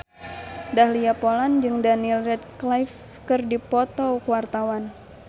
Dahlia Poland jeung Daniel Radcliffe keur dipoto ku wartawan